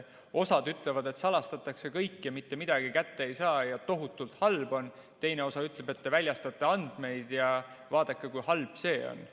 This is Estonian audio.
Osa ütleb, et salastatakse kõik ja mitte midagi kätte ei saa ja tohutult halb on, teine osa ütleb, et te väljastate andmeid ja vaadake, kui halb see on.